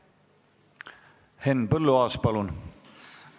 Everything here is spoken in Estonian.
Henn Põlluaas, palun!